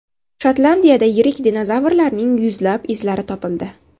Shotlandiyada yirik dinozavrlarning yuzlab izlari topildi.